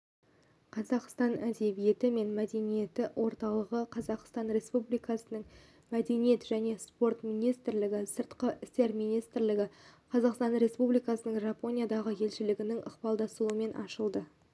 қазақстан әдебиеті мен мәдениеті орталығы қазақстан республикасының мәдениет және спорт министрлігі сыртқы істер министрлігі қазақстан республикасының жапониядағы елшілігінің ықпалдасуымен ашылды